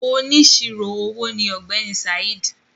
“Onísirò owó” ni ọ̀gbẹ́ni Saheed.